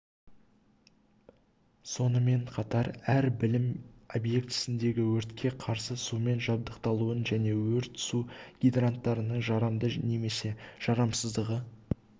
сонымен қатар әр білім объектісіндегі өртке қарсы сумен жабдықталуын және өрт су гидранттарының жарамды немесе жарамсыздығы